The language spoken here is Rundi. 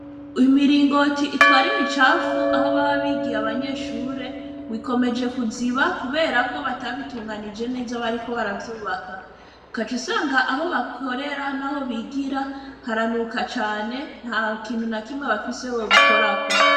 Imiringoti itwara imicafu aho baba bigiye abanyeshure ngo ikomeje kuziba kubera ko batabitunganije neza aho bariko baravyubaka. Ugaca usanga aho bakorera n'aho bigira haranuka cane, ntakintu na kimwe bafise bobikorako.